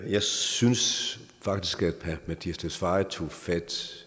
jeg synes faktisk at herre mattias tesfaye tog fat